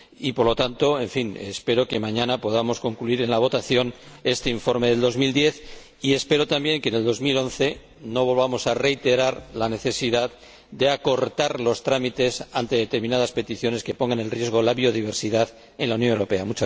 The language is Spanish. Por lo tanto, espero que mañana podamos concluir en la votación este informe de 2010 y espero también que en 2011 no volvamos a reiterar la necesidad de acortar los trámites ante determinadas peticiones que pongan en riesgo la biodiversidad en la Unión Europea.